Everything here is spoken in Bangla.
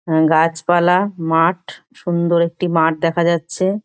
গাছপালা মাঠ সুন্দর একটি মাঠ দেখা যাচ্ছে।